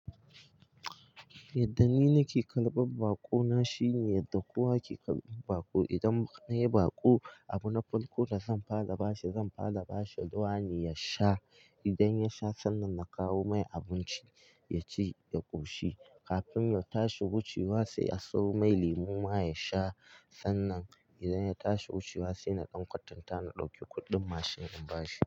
Yadda ni nake karɓar baƙo na shine yadda kowa ke karɓan baƙo, idan nayi baƙo, abu na farko da zan fara bashi zan fara bashi ruwa ne ya sha. Idan yasha, sannan na kawo mai abinci ya ci ya ƙoshi. Kafin ya tashi wucewa sai a sawo mai lemu ma ya sha. Sannan idan ya tashi wucewa sai na ɗan kwantanta na ɗauki kuɗin mashin in bashi.